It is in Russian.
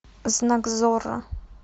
знак зорро